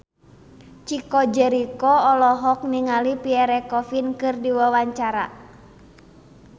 Chico Jericho olohok ningali Pierre Coffin keur diwawancara